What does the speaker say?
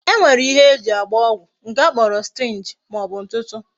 E nwere ihe eji agba ọgwụ nke a kpọrọ syringe ma ọbụ ntutu.